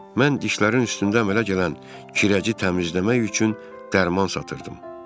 Mən dişlərin üstündə əmələ gələn kirəci təmizləmək üçün dərman satırdım.